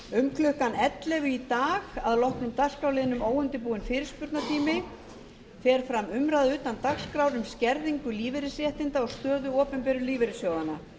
um klukkan ellefu í dag að loknum dagskrárliðnum óundirbúinn fyrirspurnatími fer fram umræða utan dagskrár um skerðingu lífeyrisréttinda og stöðu opinberu lífeyrissjóðanna